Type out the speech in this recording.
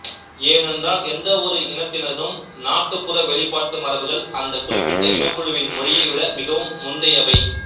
ஏனென்றால் எந்தவொரு இனத்தினதும் நாட்டுப்புற வெளிப்பாட்டு மரபுகள் அந்த குறிப்பிட்ட இனக்குழுவின் மொழியை விட மிகவும் முந்தையவை